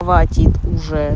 хватит уже